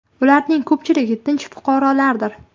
Ularning ko‘pchiligi tinch fuqarolardir.